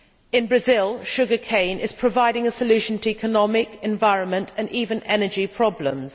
In Brazil, sugar cane is providing a solution to economic, environment and even energy problems.